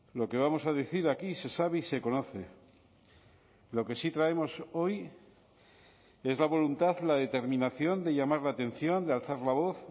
lo que vamos a decir aquí se sabe y se conoce lo que sí traemos hoy es la voluntad la determinación de llamar la atención de alzar la voz